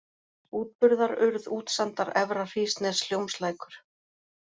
Útburðarurð, Útsandar, Efra-Hrísnes, Hjómslækur